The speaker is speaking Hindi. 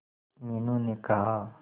मीनू ने कहा